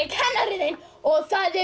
kennarinn þinn og það er